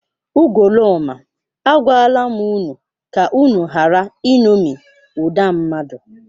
Ugoloọma, agwala m unu ka unu ghara iṅomi ụda mmadụ!